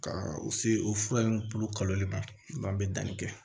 Ka u se o fura in bulu kalo bɛ danni kɛ